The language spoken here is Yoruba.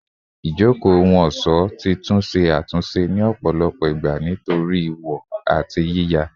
Ijoko ohun-ọṣọ ti tun ṣe atunṣe ni ọpọlọpọ igba nitori wọ ati yiya